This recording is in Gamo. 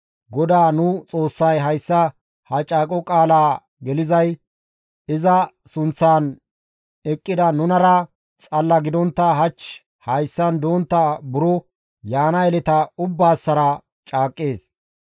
GODAA nu Xoossay hayssa ha caaqo qaala gelizay iza sunththan eqqida nunara xalla gidontta hach hayssan dontta buro yaana yeleta ubbaassara caaqqees.